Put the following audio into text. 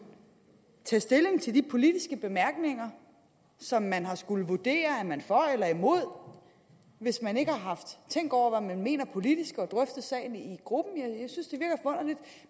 tage stilling til de politiske bemærkninger som man har skullet vurdere er man for eller imod hvis man ikke har tænkt over hvad man mener politisk og drøftet sagen i gruppen